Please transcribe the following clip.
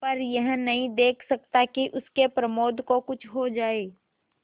पर यह नहीं देख सकता कि उसके प्रमोद को कुछ हो जाए